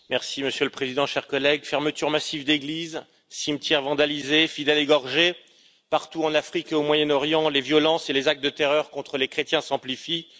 Monsieur le Président, chers collègues, fermetures massives d'églises, cimetières vandalisés, fidèles égorgés, partout en Afrique et au Moyen Orient, les violences et les actes de terreur contre les chrétiens s'amplifient.